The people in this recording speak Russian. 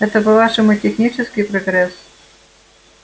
это по-вашему технический прогресс